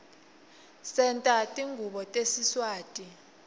senta tingubo tesiswati